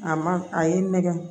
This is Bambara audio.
A ma a ye nɛgɛ